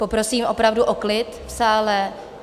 Poprosím opravdu o klid v sále.